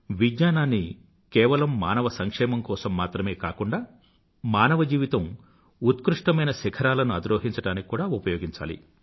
విజ్ఞానాన్ని కేవలం మానవుడి సంక్షేమం కోసం మాత్రమే కాకుండా మానవ జీవితం ఉత్కృష్టమైన శిఖరాలను ఆధిరోహించడానికి కూడా ఉపయోగించాలి